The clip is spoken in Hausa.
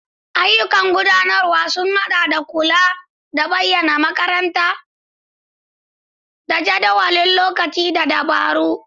Ayyukan gudanarwa sun haɗa da kula da bayanan makaranta, jadawalin lokaci, da dabaru.